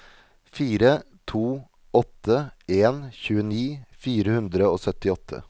fire to åtte en tjueni fire hundre og syttiåtte